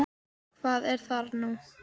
Hvað er þar nú?